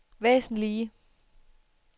væsentlige